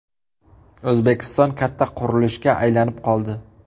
O‘zbekiston katta qurilishga aylanib qoldi.